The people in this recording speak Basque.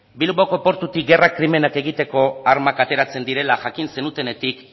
bilboko portutik gerra krimenak egiteko armak ateratzen direla jakin zenutenetik